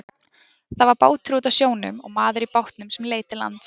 Það var bátur úti á sjónum og maður í bátnum sem leit til lands.